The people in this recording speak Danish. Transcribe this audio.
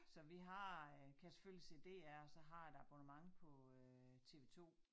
Så vi har øh kan selvfølgelig se DR og så et abonnement på øh TV2